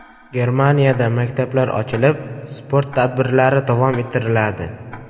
Germaniyada maktablar ochilib, sport tadbirlari davom ettiriladi.